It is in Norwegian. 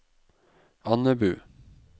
Andebu